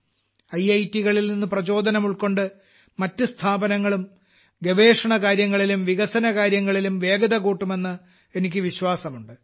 IIT കളിൽ നിന്ന് പ്രചോദനം ഉൾക്കൊണ്ട് മറ്റ് സ്ഥാപനങ്ങളും ഗവേഷണകാര്യങ്ങളിലും വികസനകാര്യങ്ങളിലും വേഗത കൂട്ടുമെന്ന് എനിക്ക് വിശ്വാസമുണ്ട്